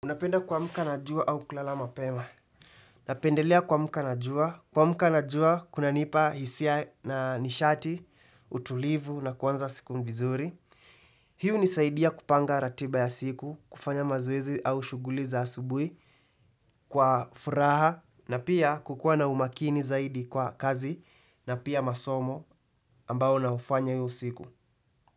Unapenda kumka na jua au kulala mapema. Napendelea kumka na jua. Kumka na jua, kuna nipa hisia na nishati, utulivu na kuanza siku vizuri. Hiu hunisaidia kupanga ratiba ya siku, kufanya mazoezi au shughuli za asubuhi, kwa furaha na pia kukua na umakini zaidi kwa kazi na pia masomo ambao na ufanya iyo siku.